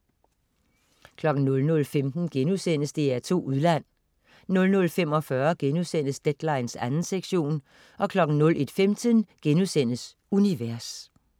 00.15 DR2 Udland* 00.45 Deadline 2. sektion* 01.15 Univers*